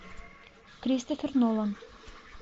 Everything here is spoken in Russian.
кристофер нолан